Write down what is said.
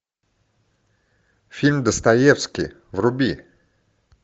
фильм достоевский вруби